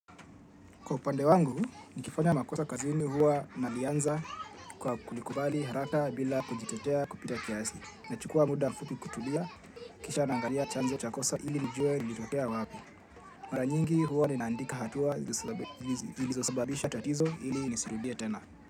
Kwa upande wangu, nikifanya makosa kazini huwa nalianza kwa kulikubali haraka bila kujitetea kupita kiasi. Nachukua muda mfupi kutulia, kisha nangalia chanzo cha kosa ili nijue lilitokea wapi. Mara nyingi huwa ninaandika hatua ziliosababisha tatizo ili nisirudia tena.